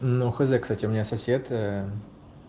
ну хз кстати у меня сосед